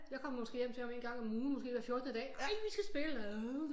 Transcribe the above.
Jeg kom måske hjem til han en gang om ugen måske hver fjortende dag ej vi skal spille